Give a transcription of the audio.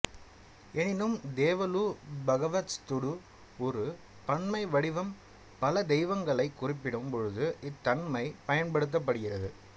எனினும் தேவலு பகவஸ்துடு ஒரு பன்மை வடிவம் பல தெய்வங்களைக் குறிப்பிடும் பொழுது இத்தன்மை பயன்படுத்தப்படுகிறது